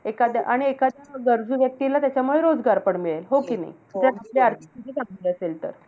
एखाद्या आणि एखाद्या गरजू व्यक्तीला त्याच्यामुळे रोजगार पण मिळेल. हो कि नाही? जर तुमच्या अडचणी असेल तर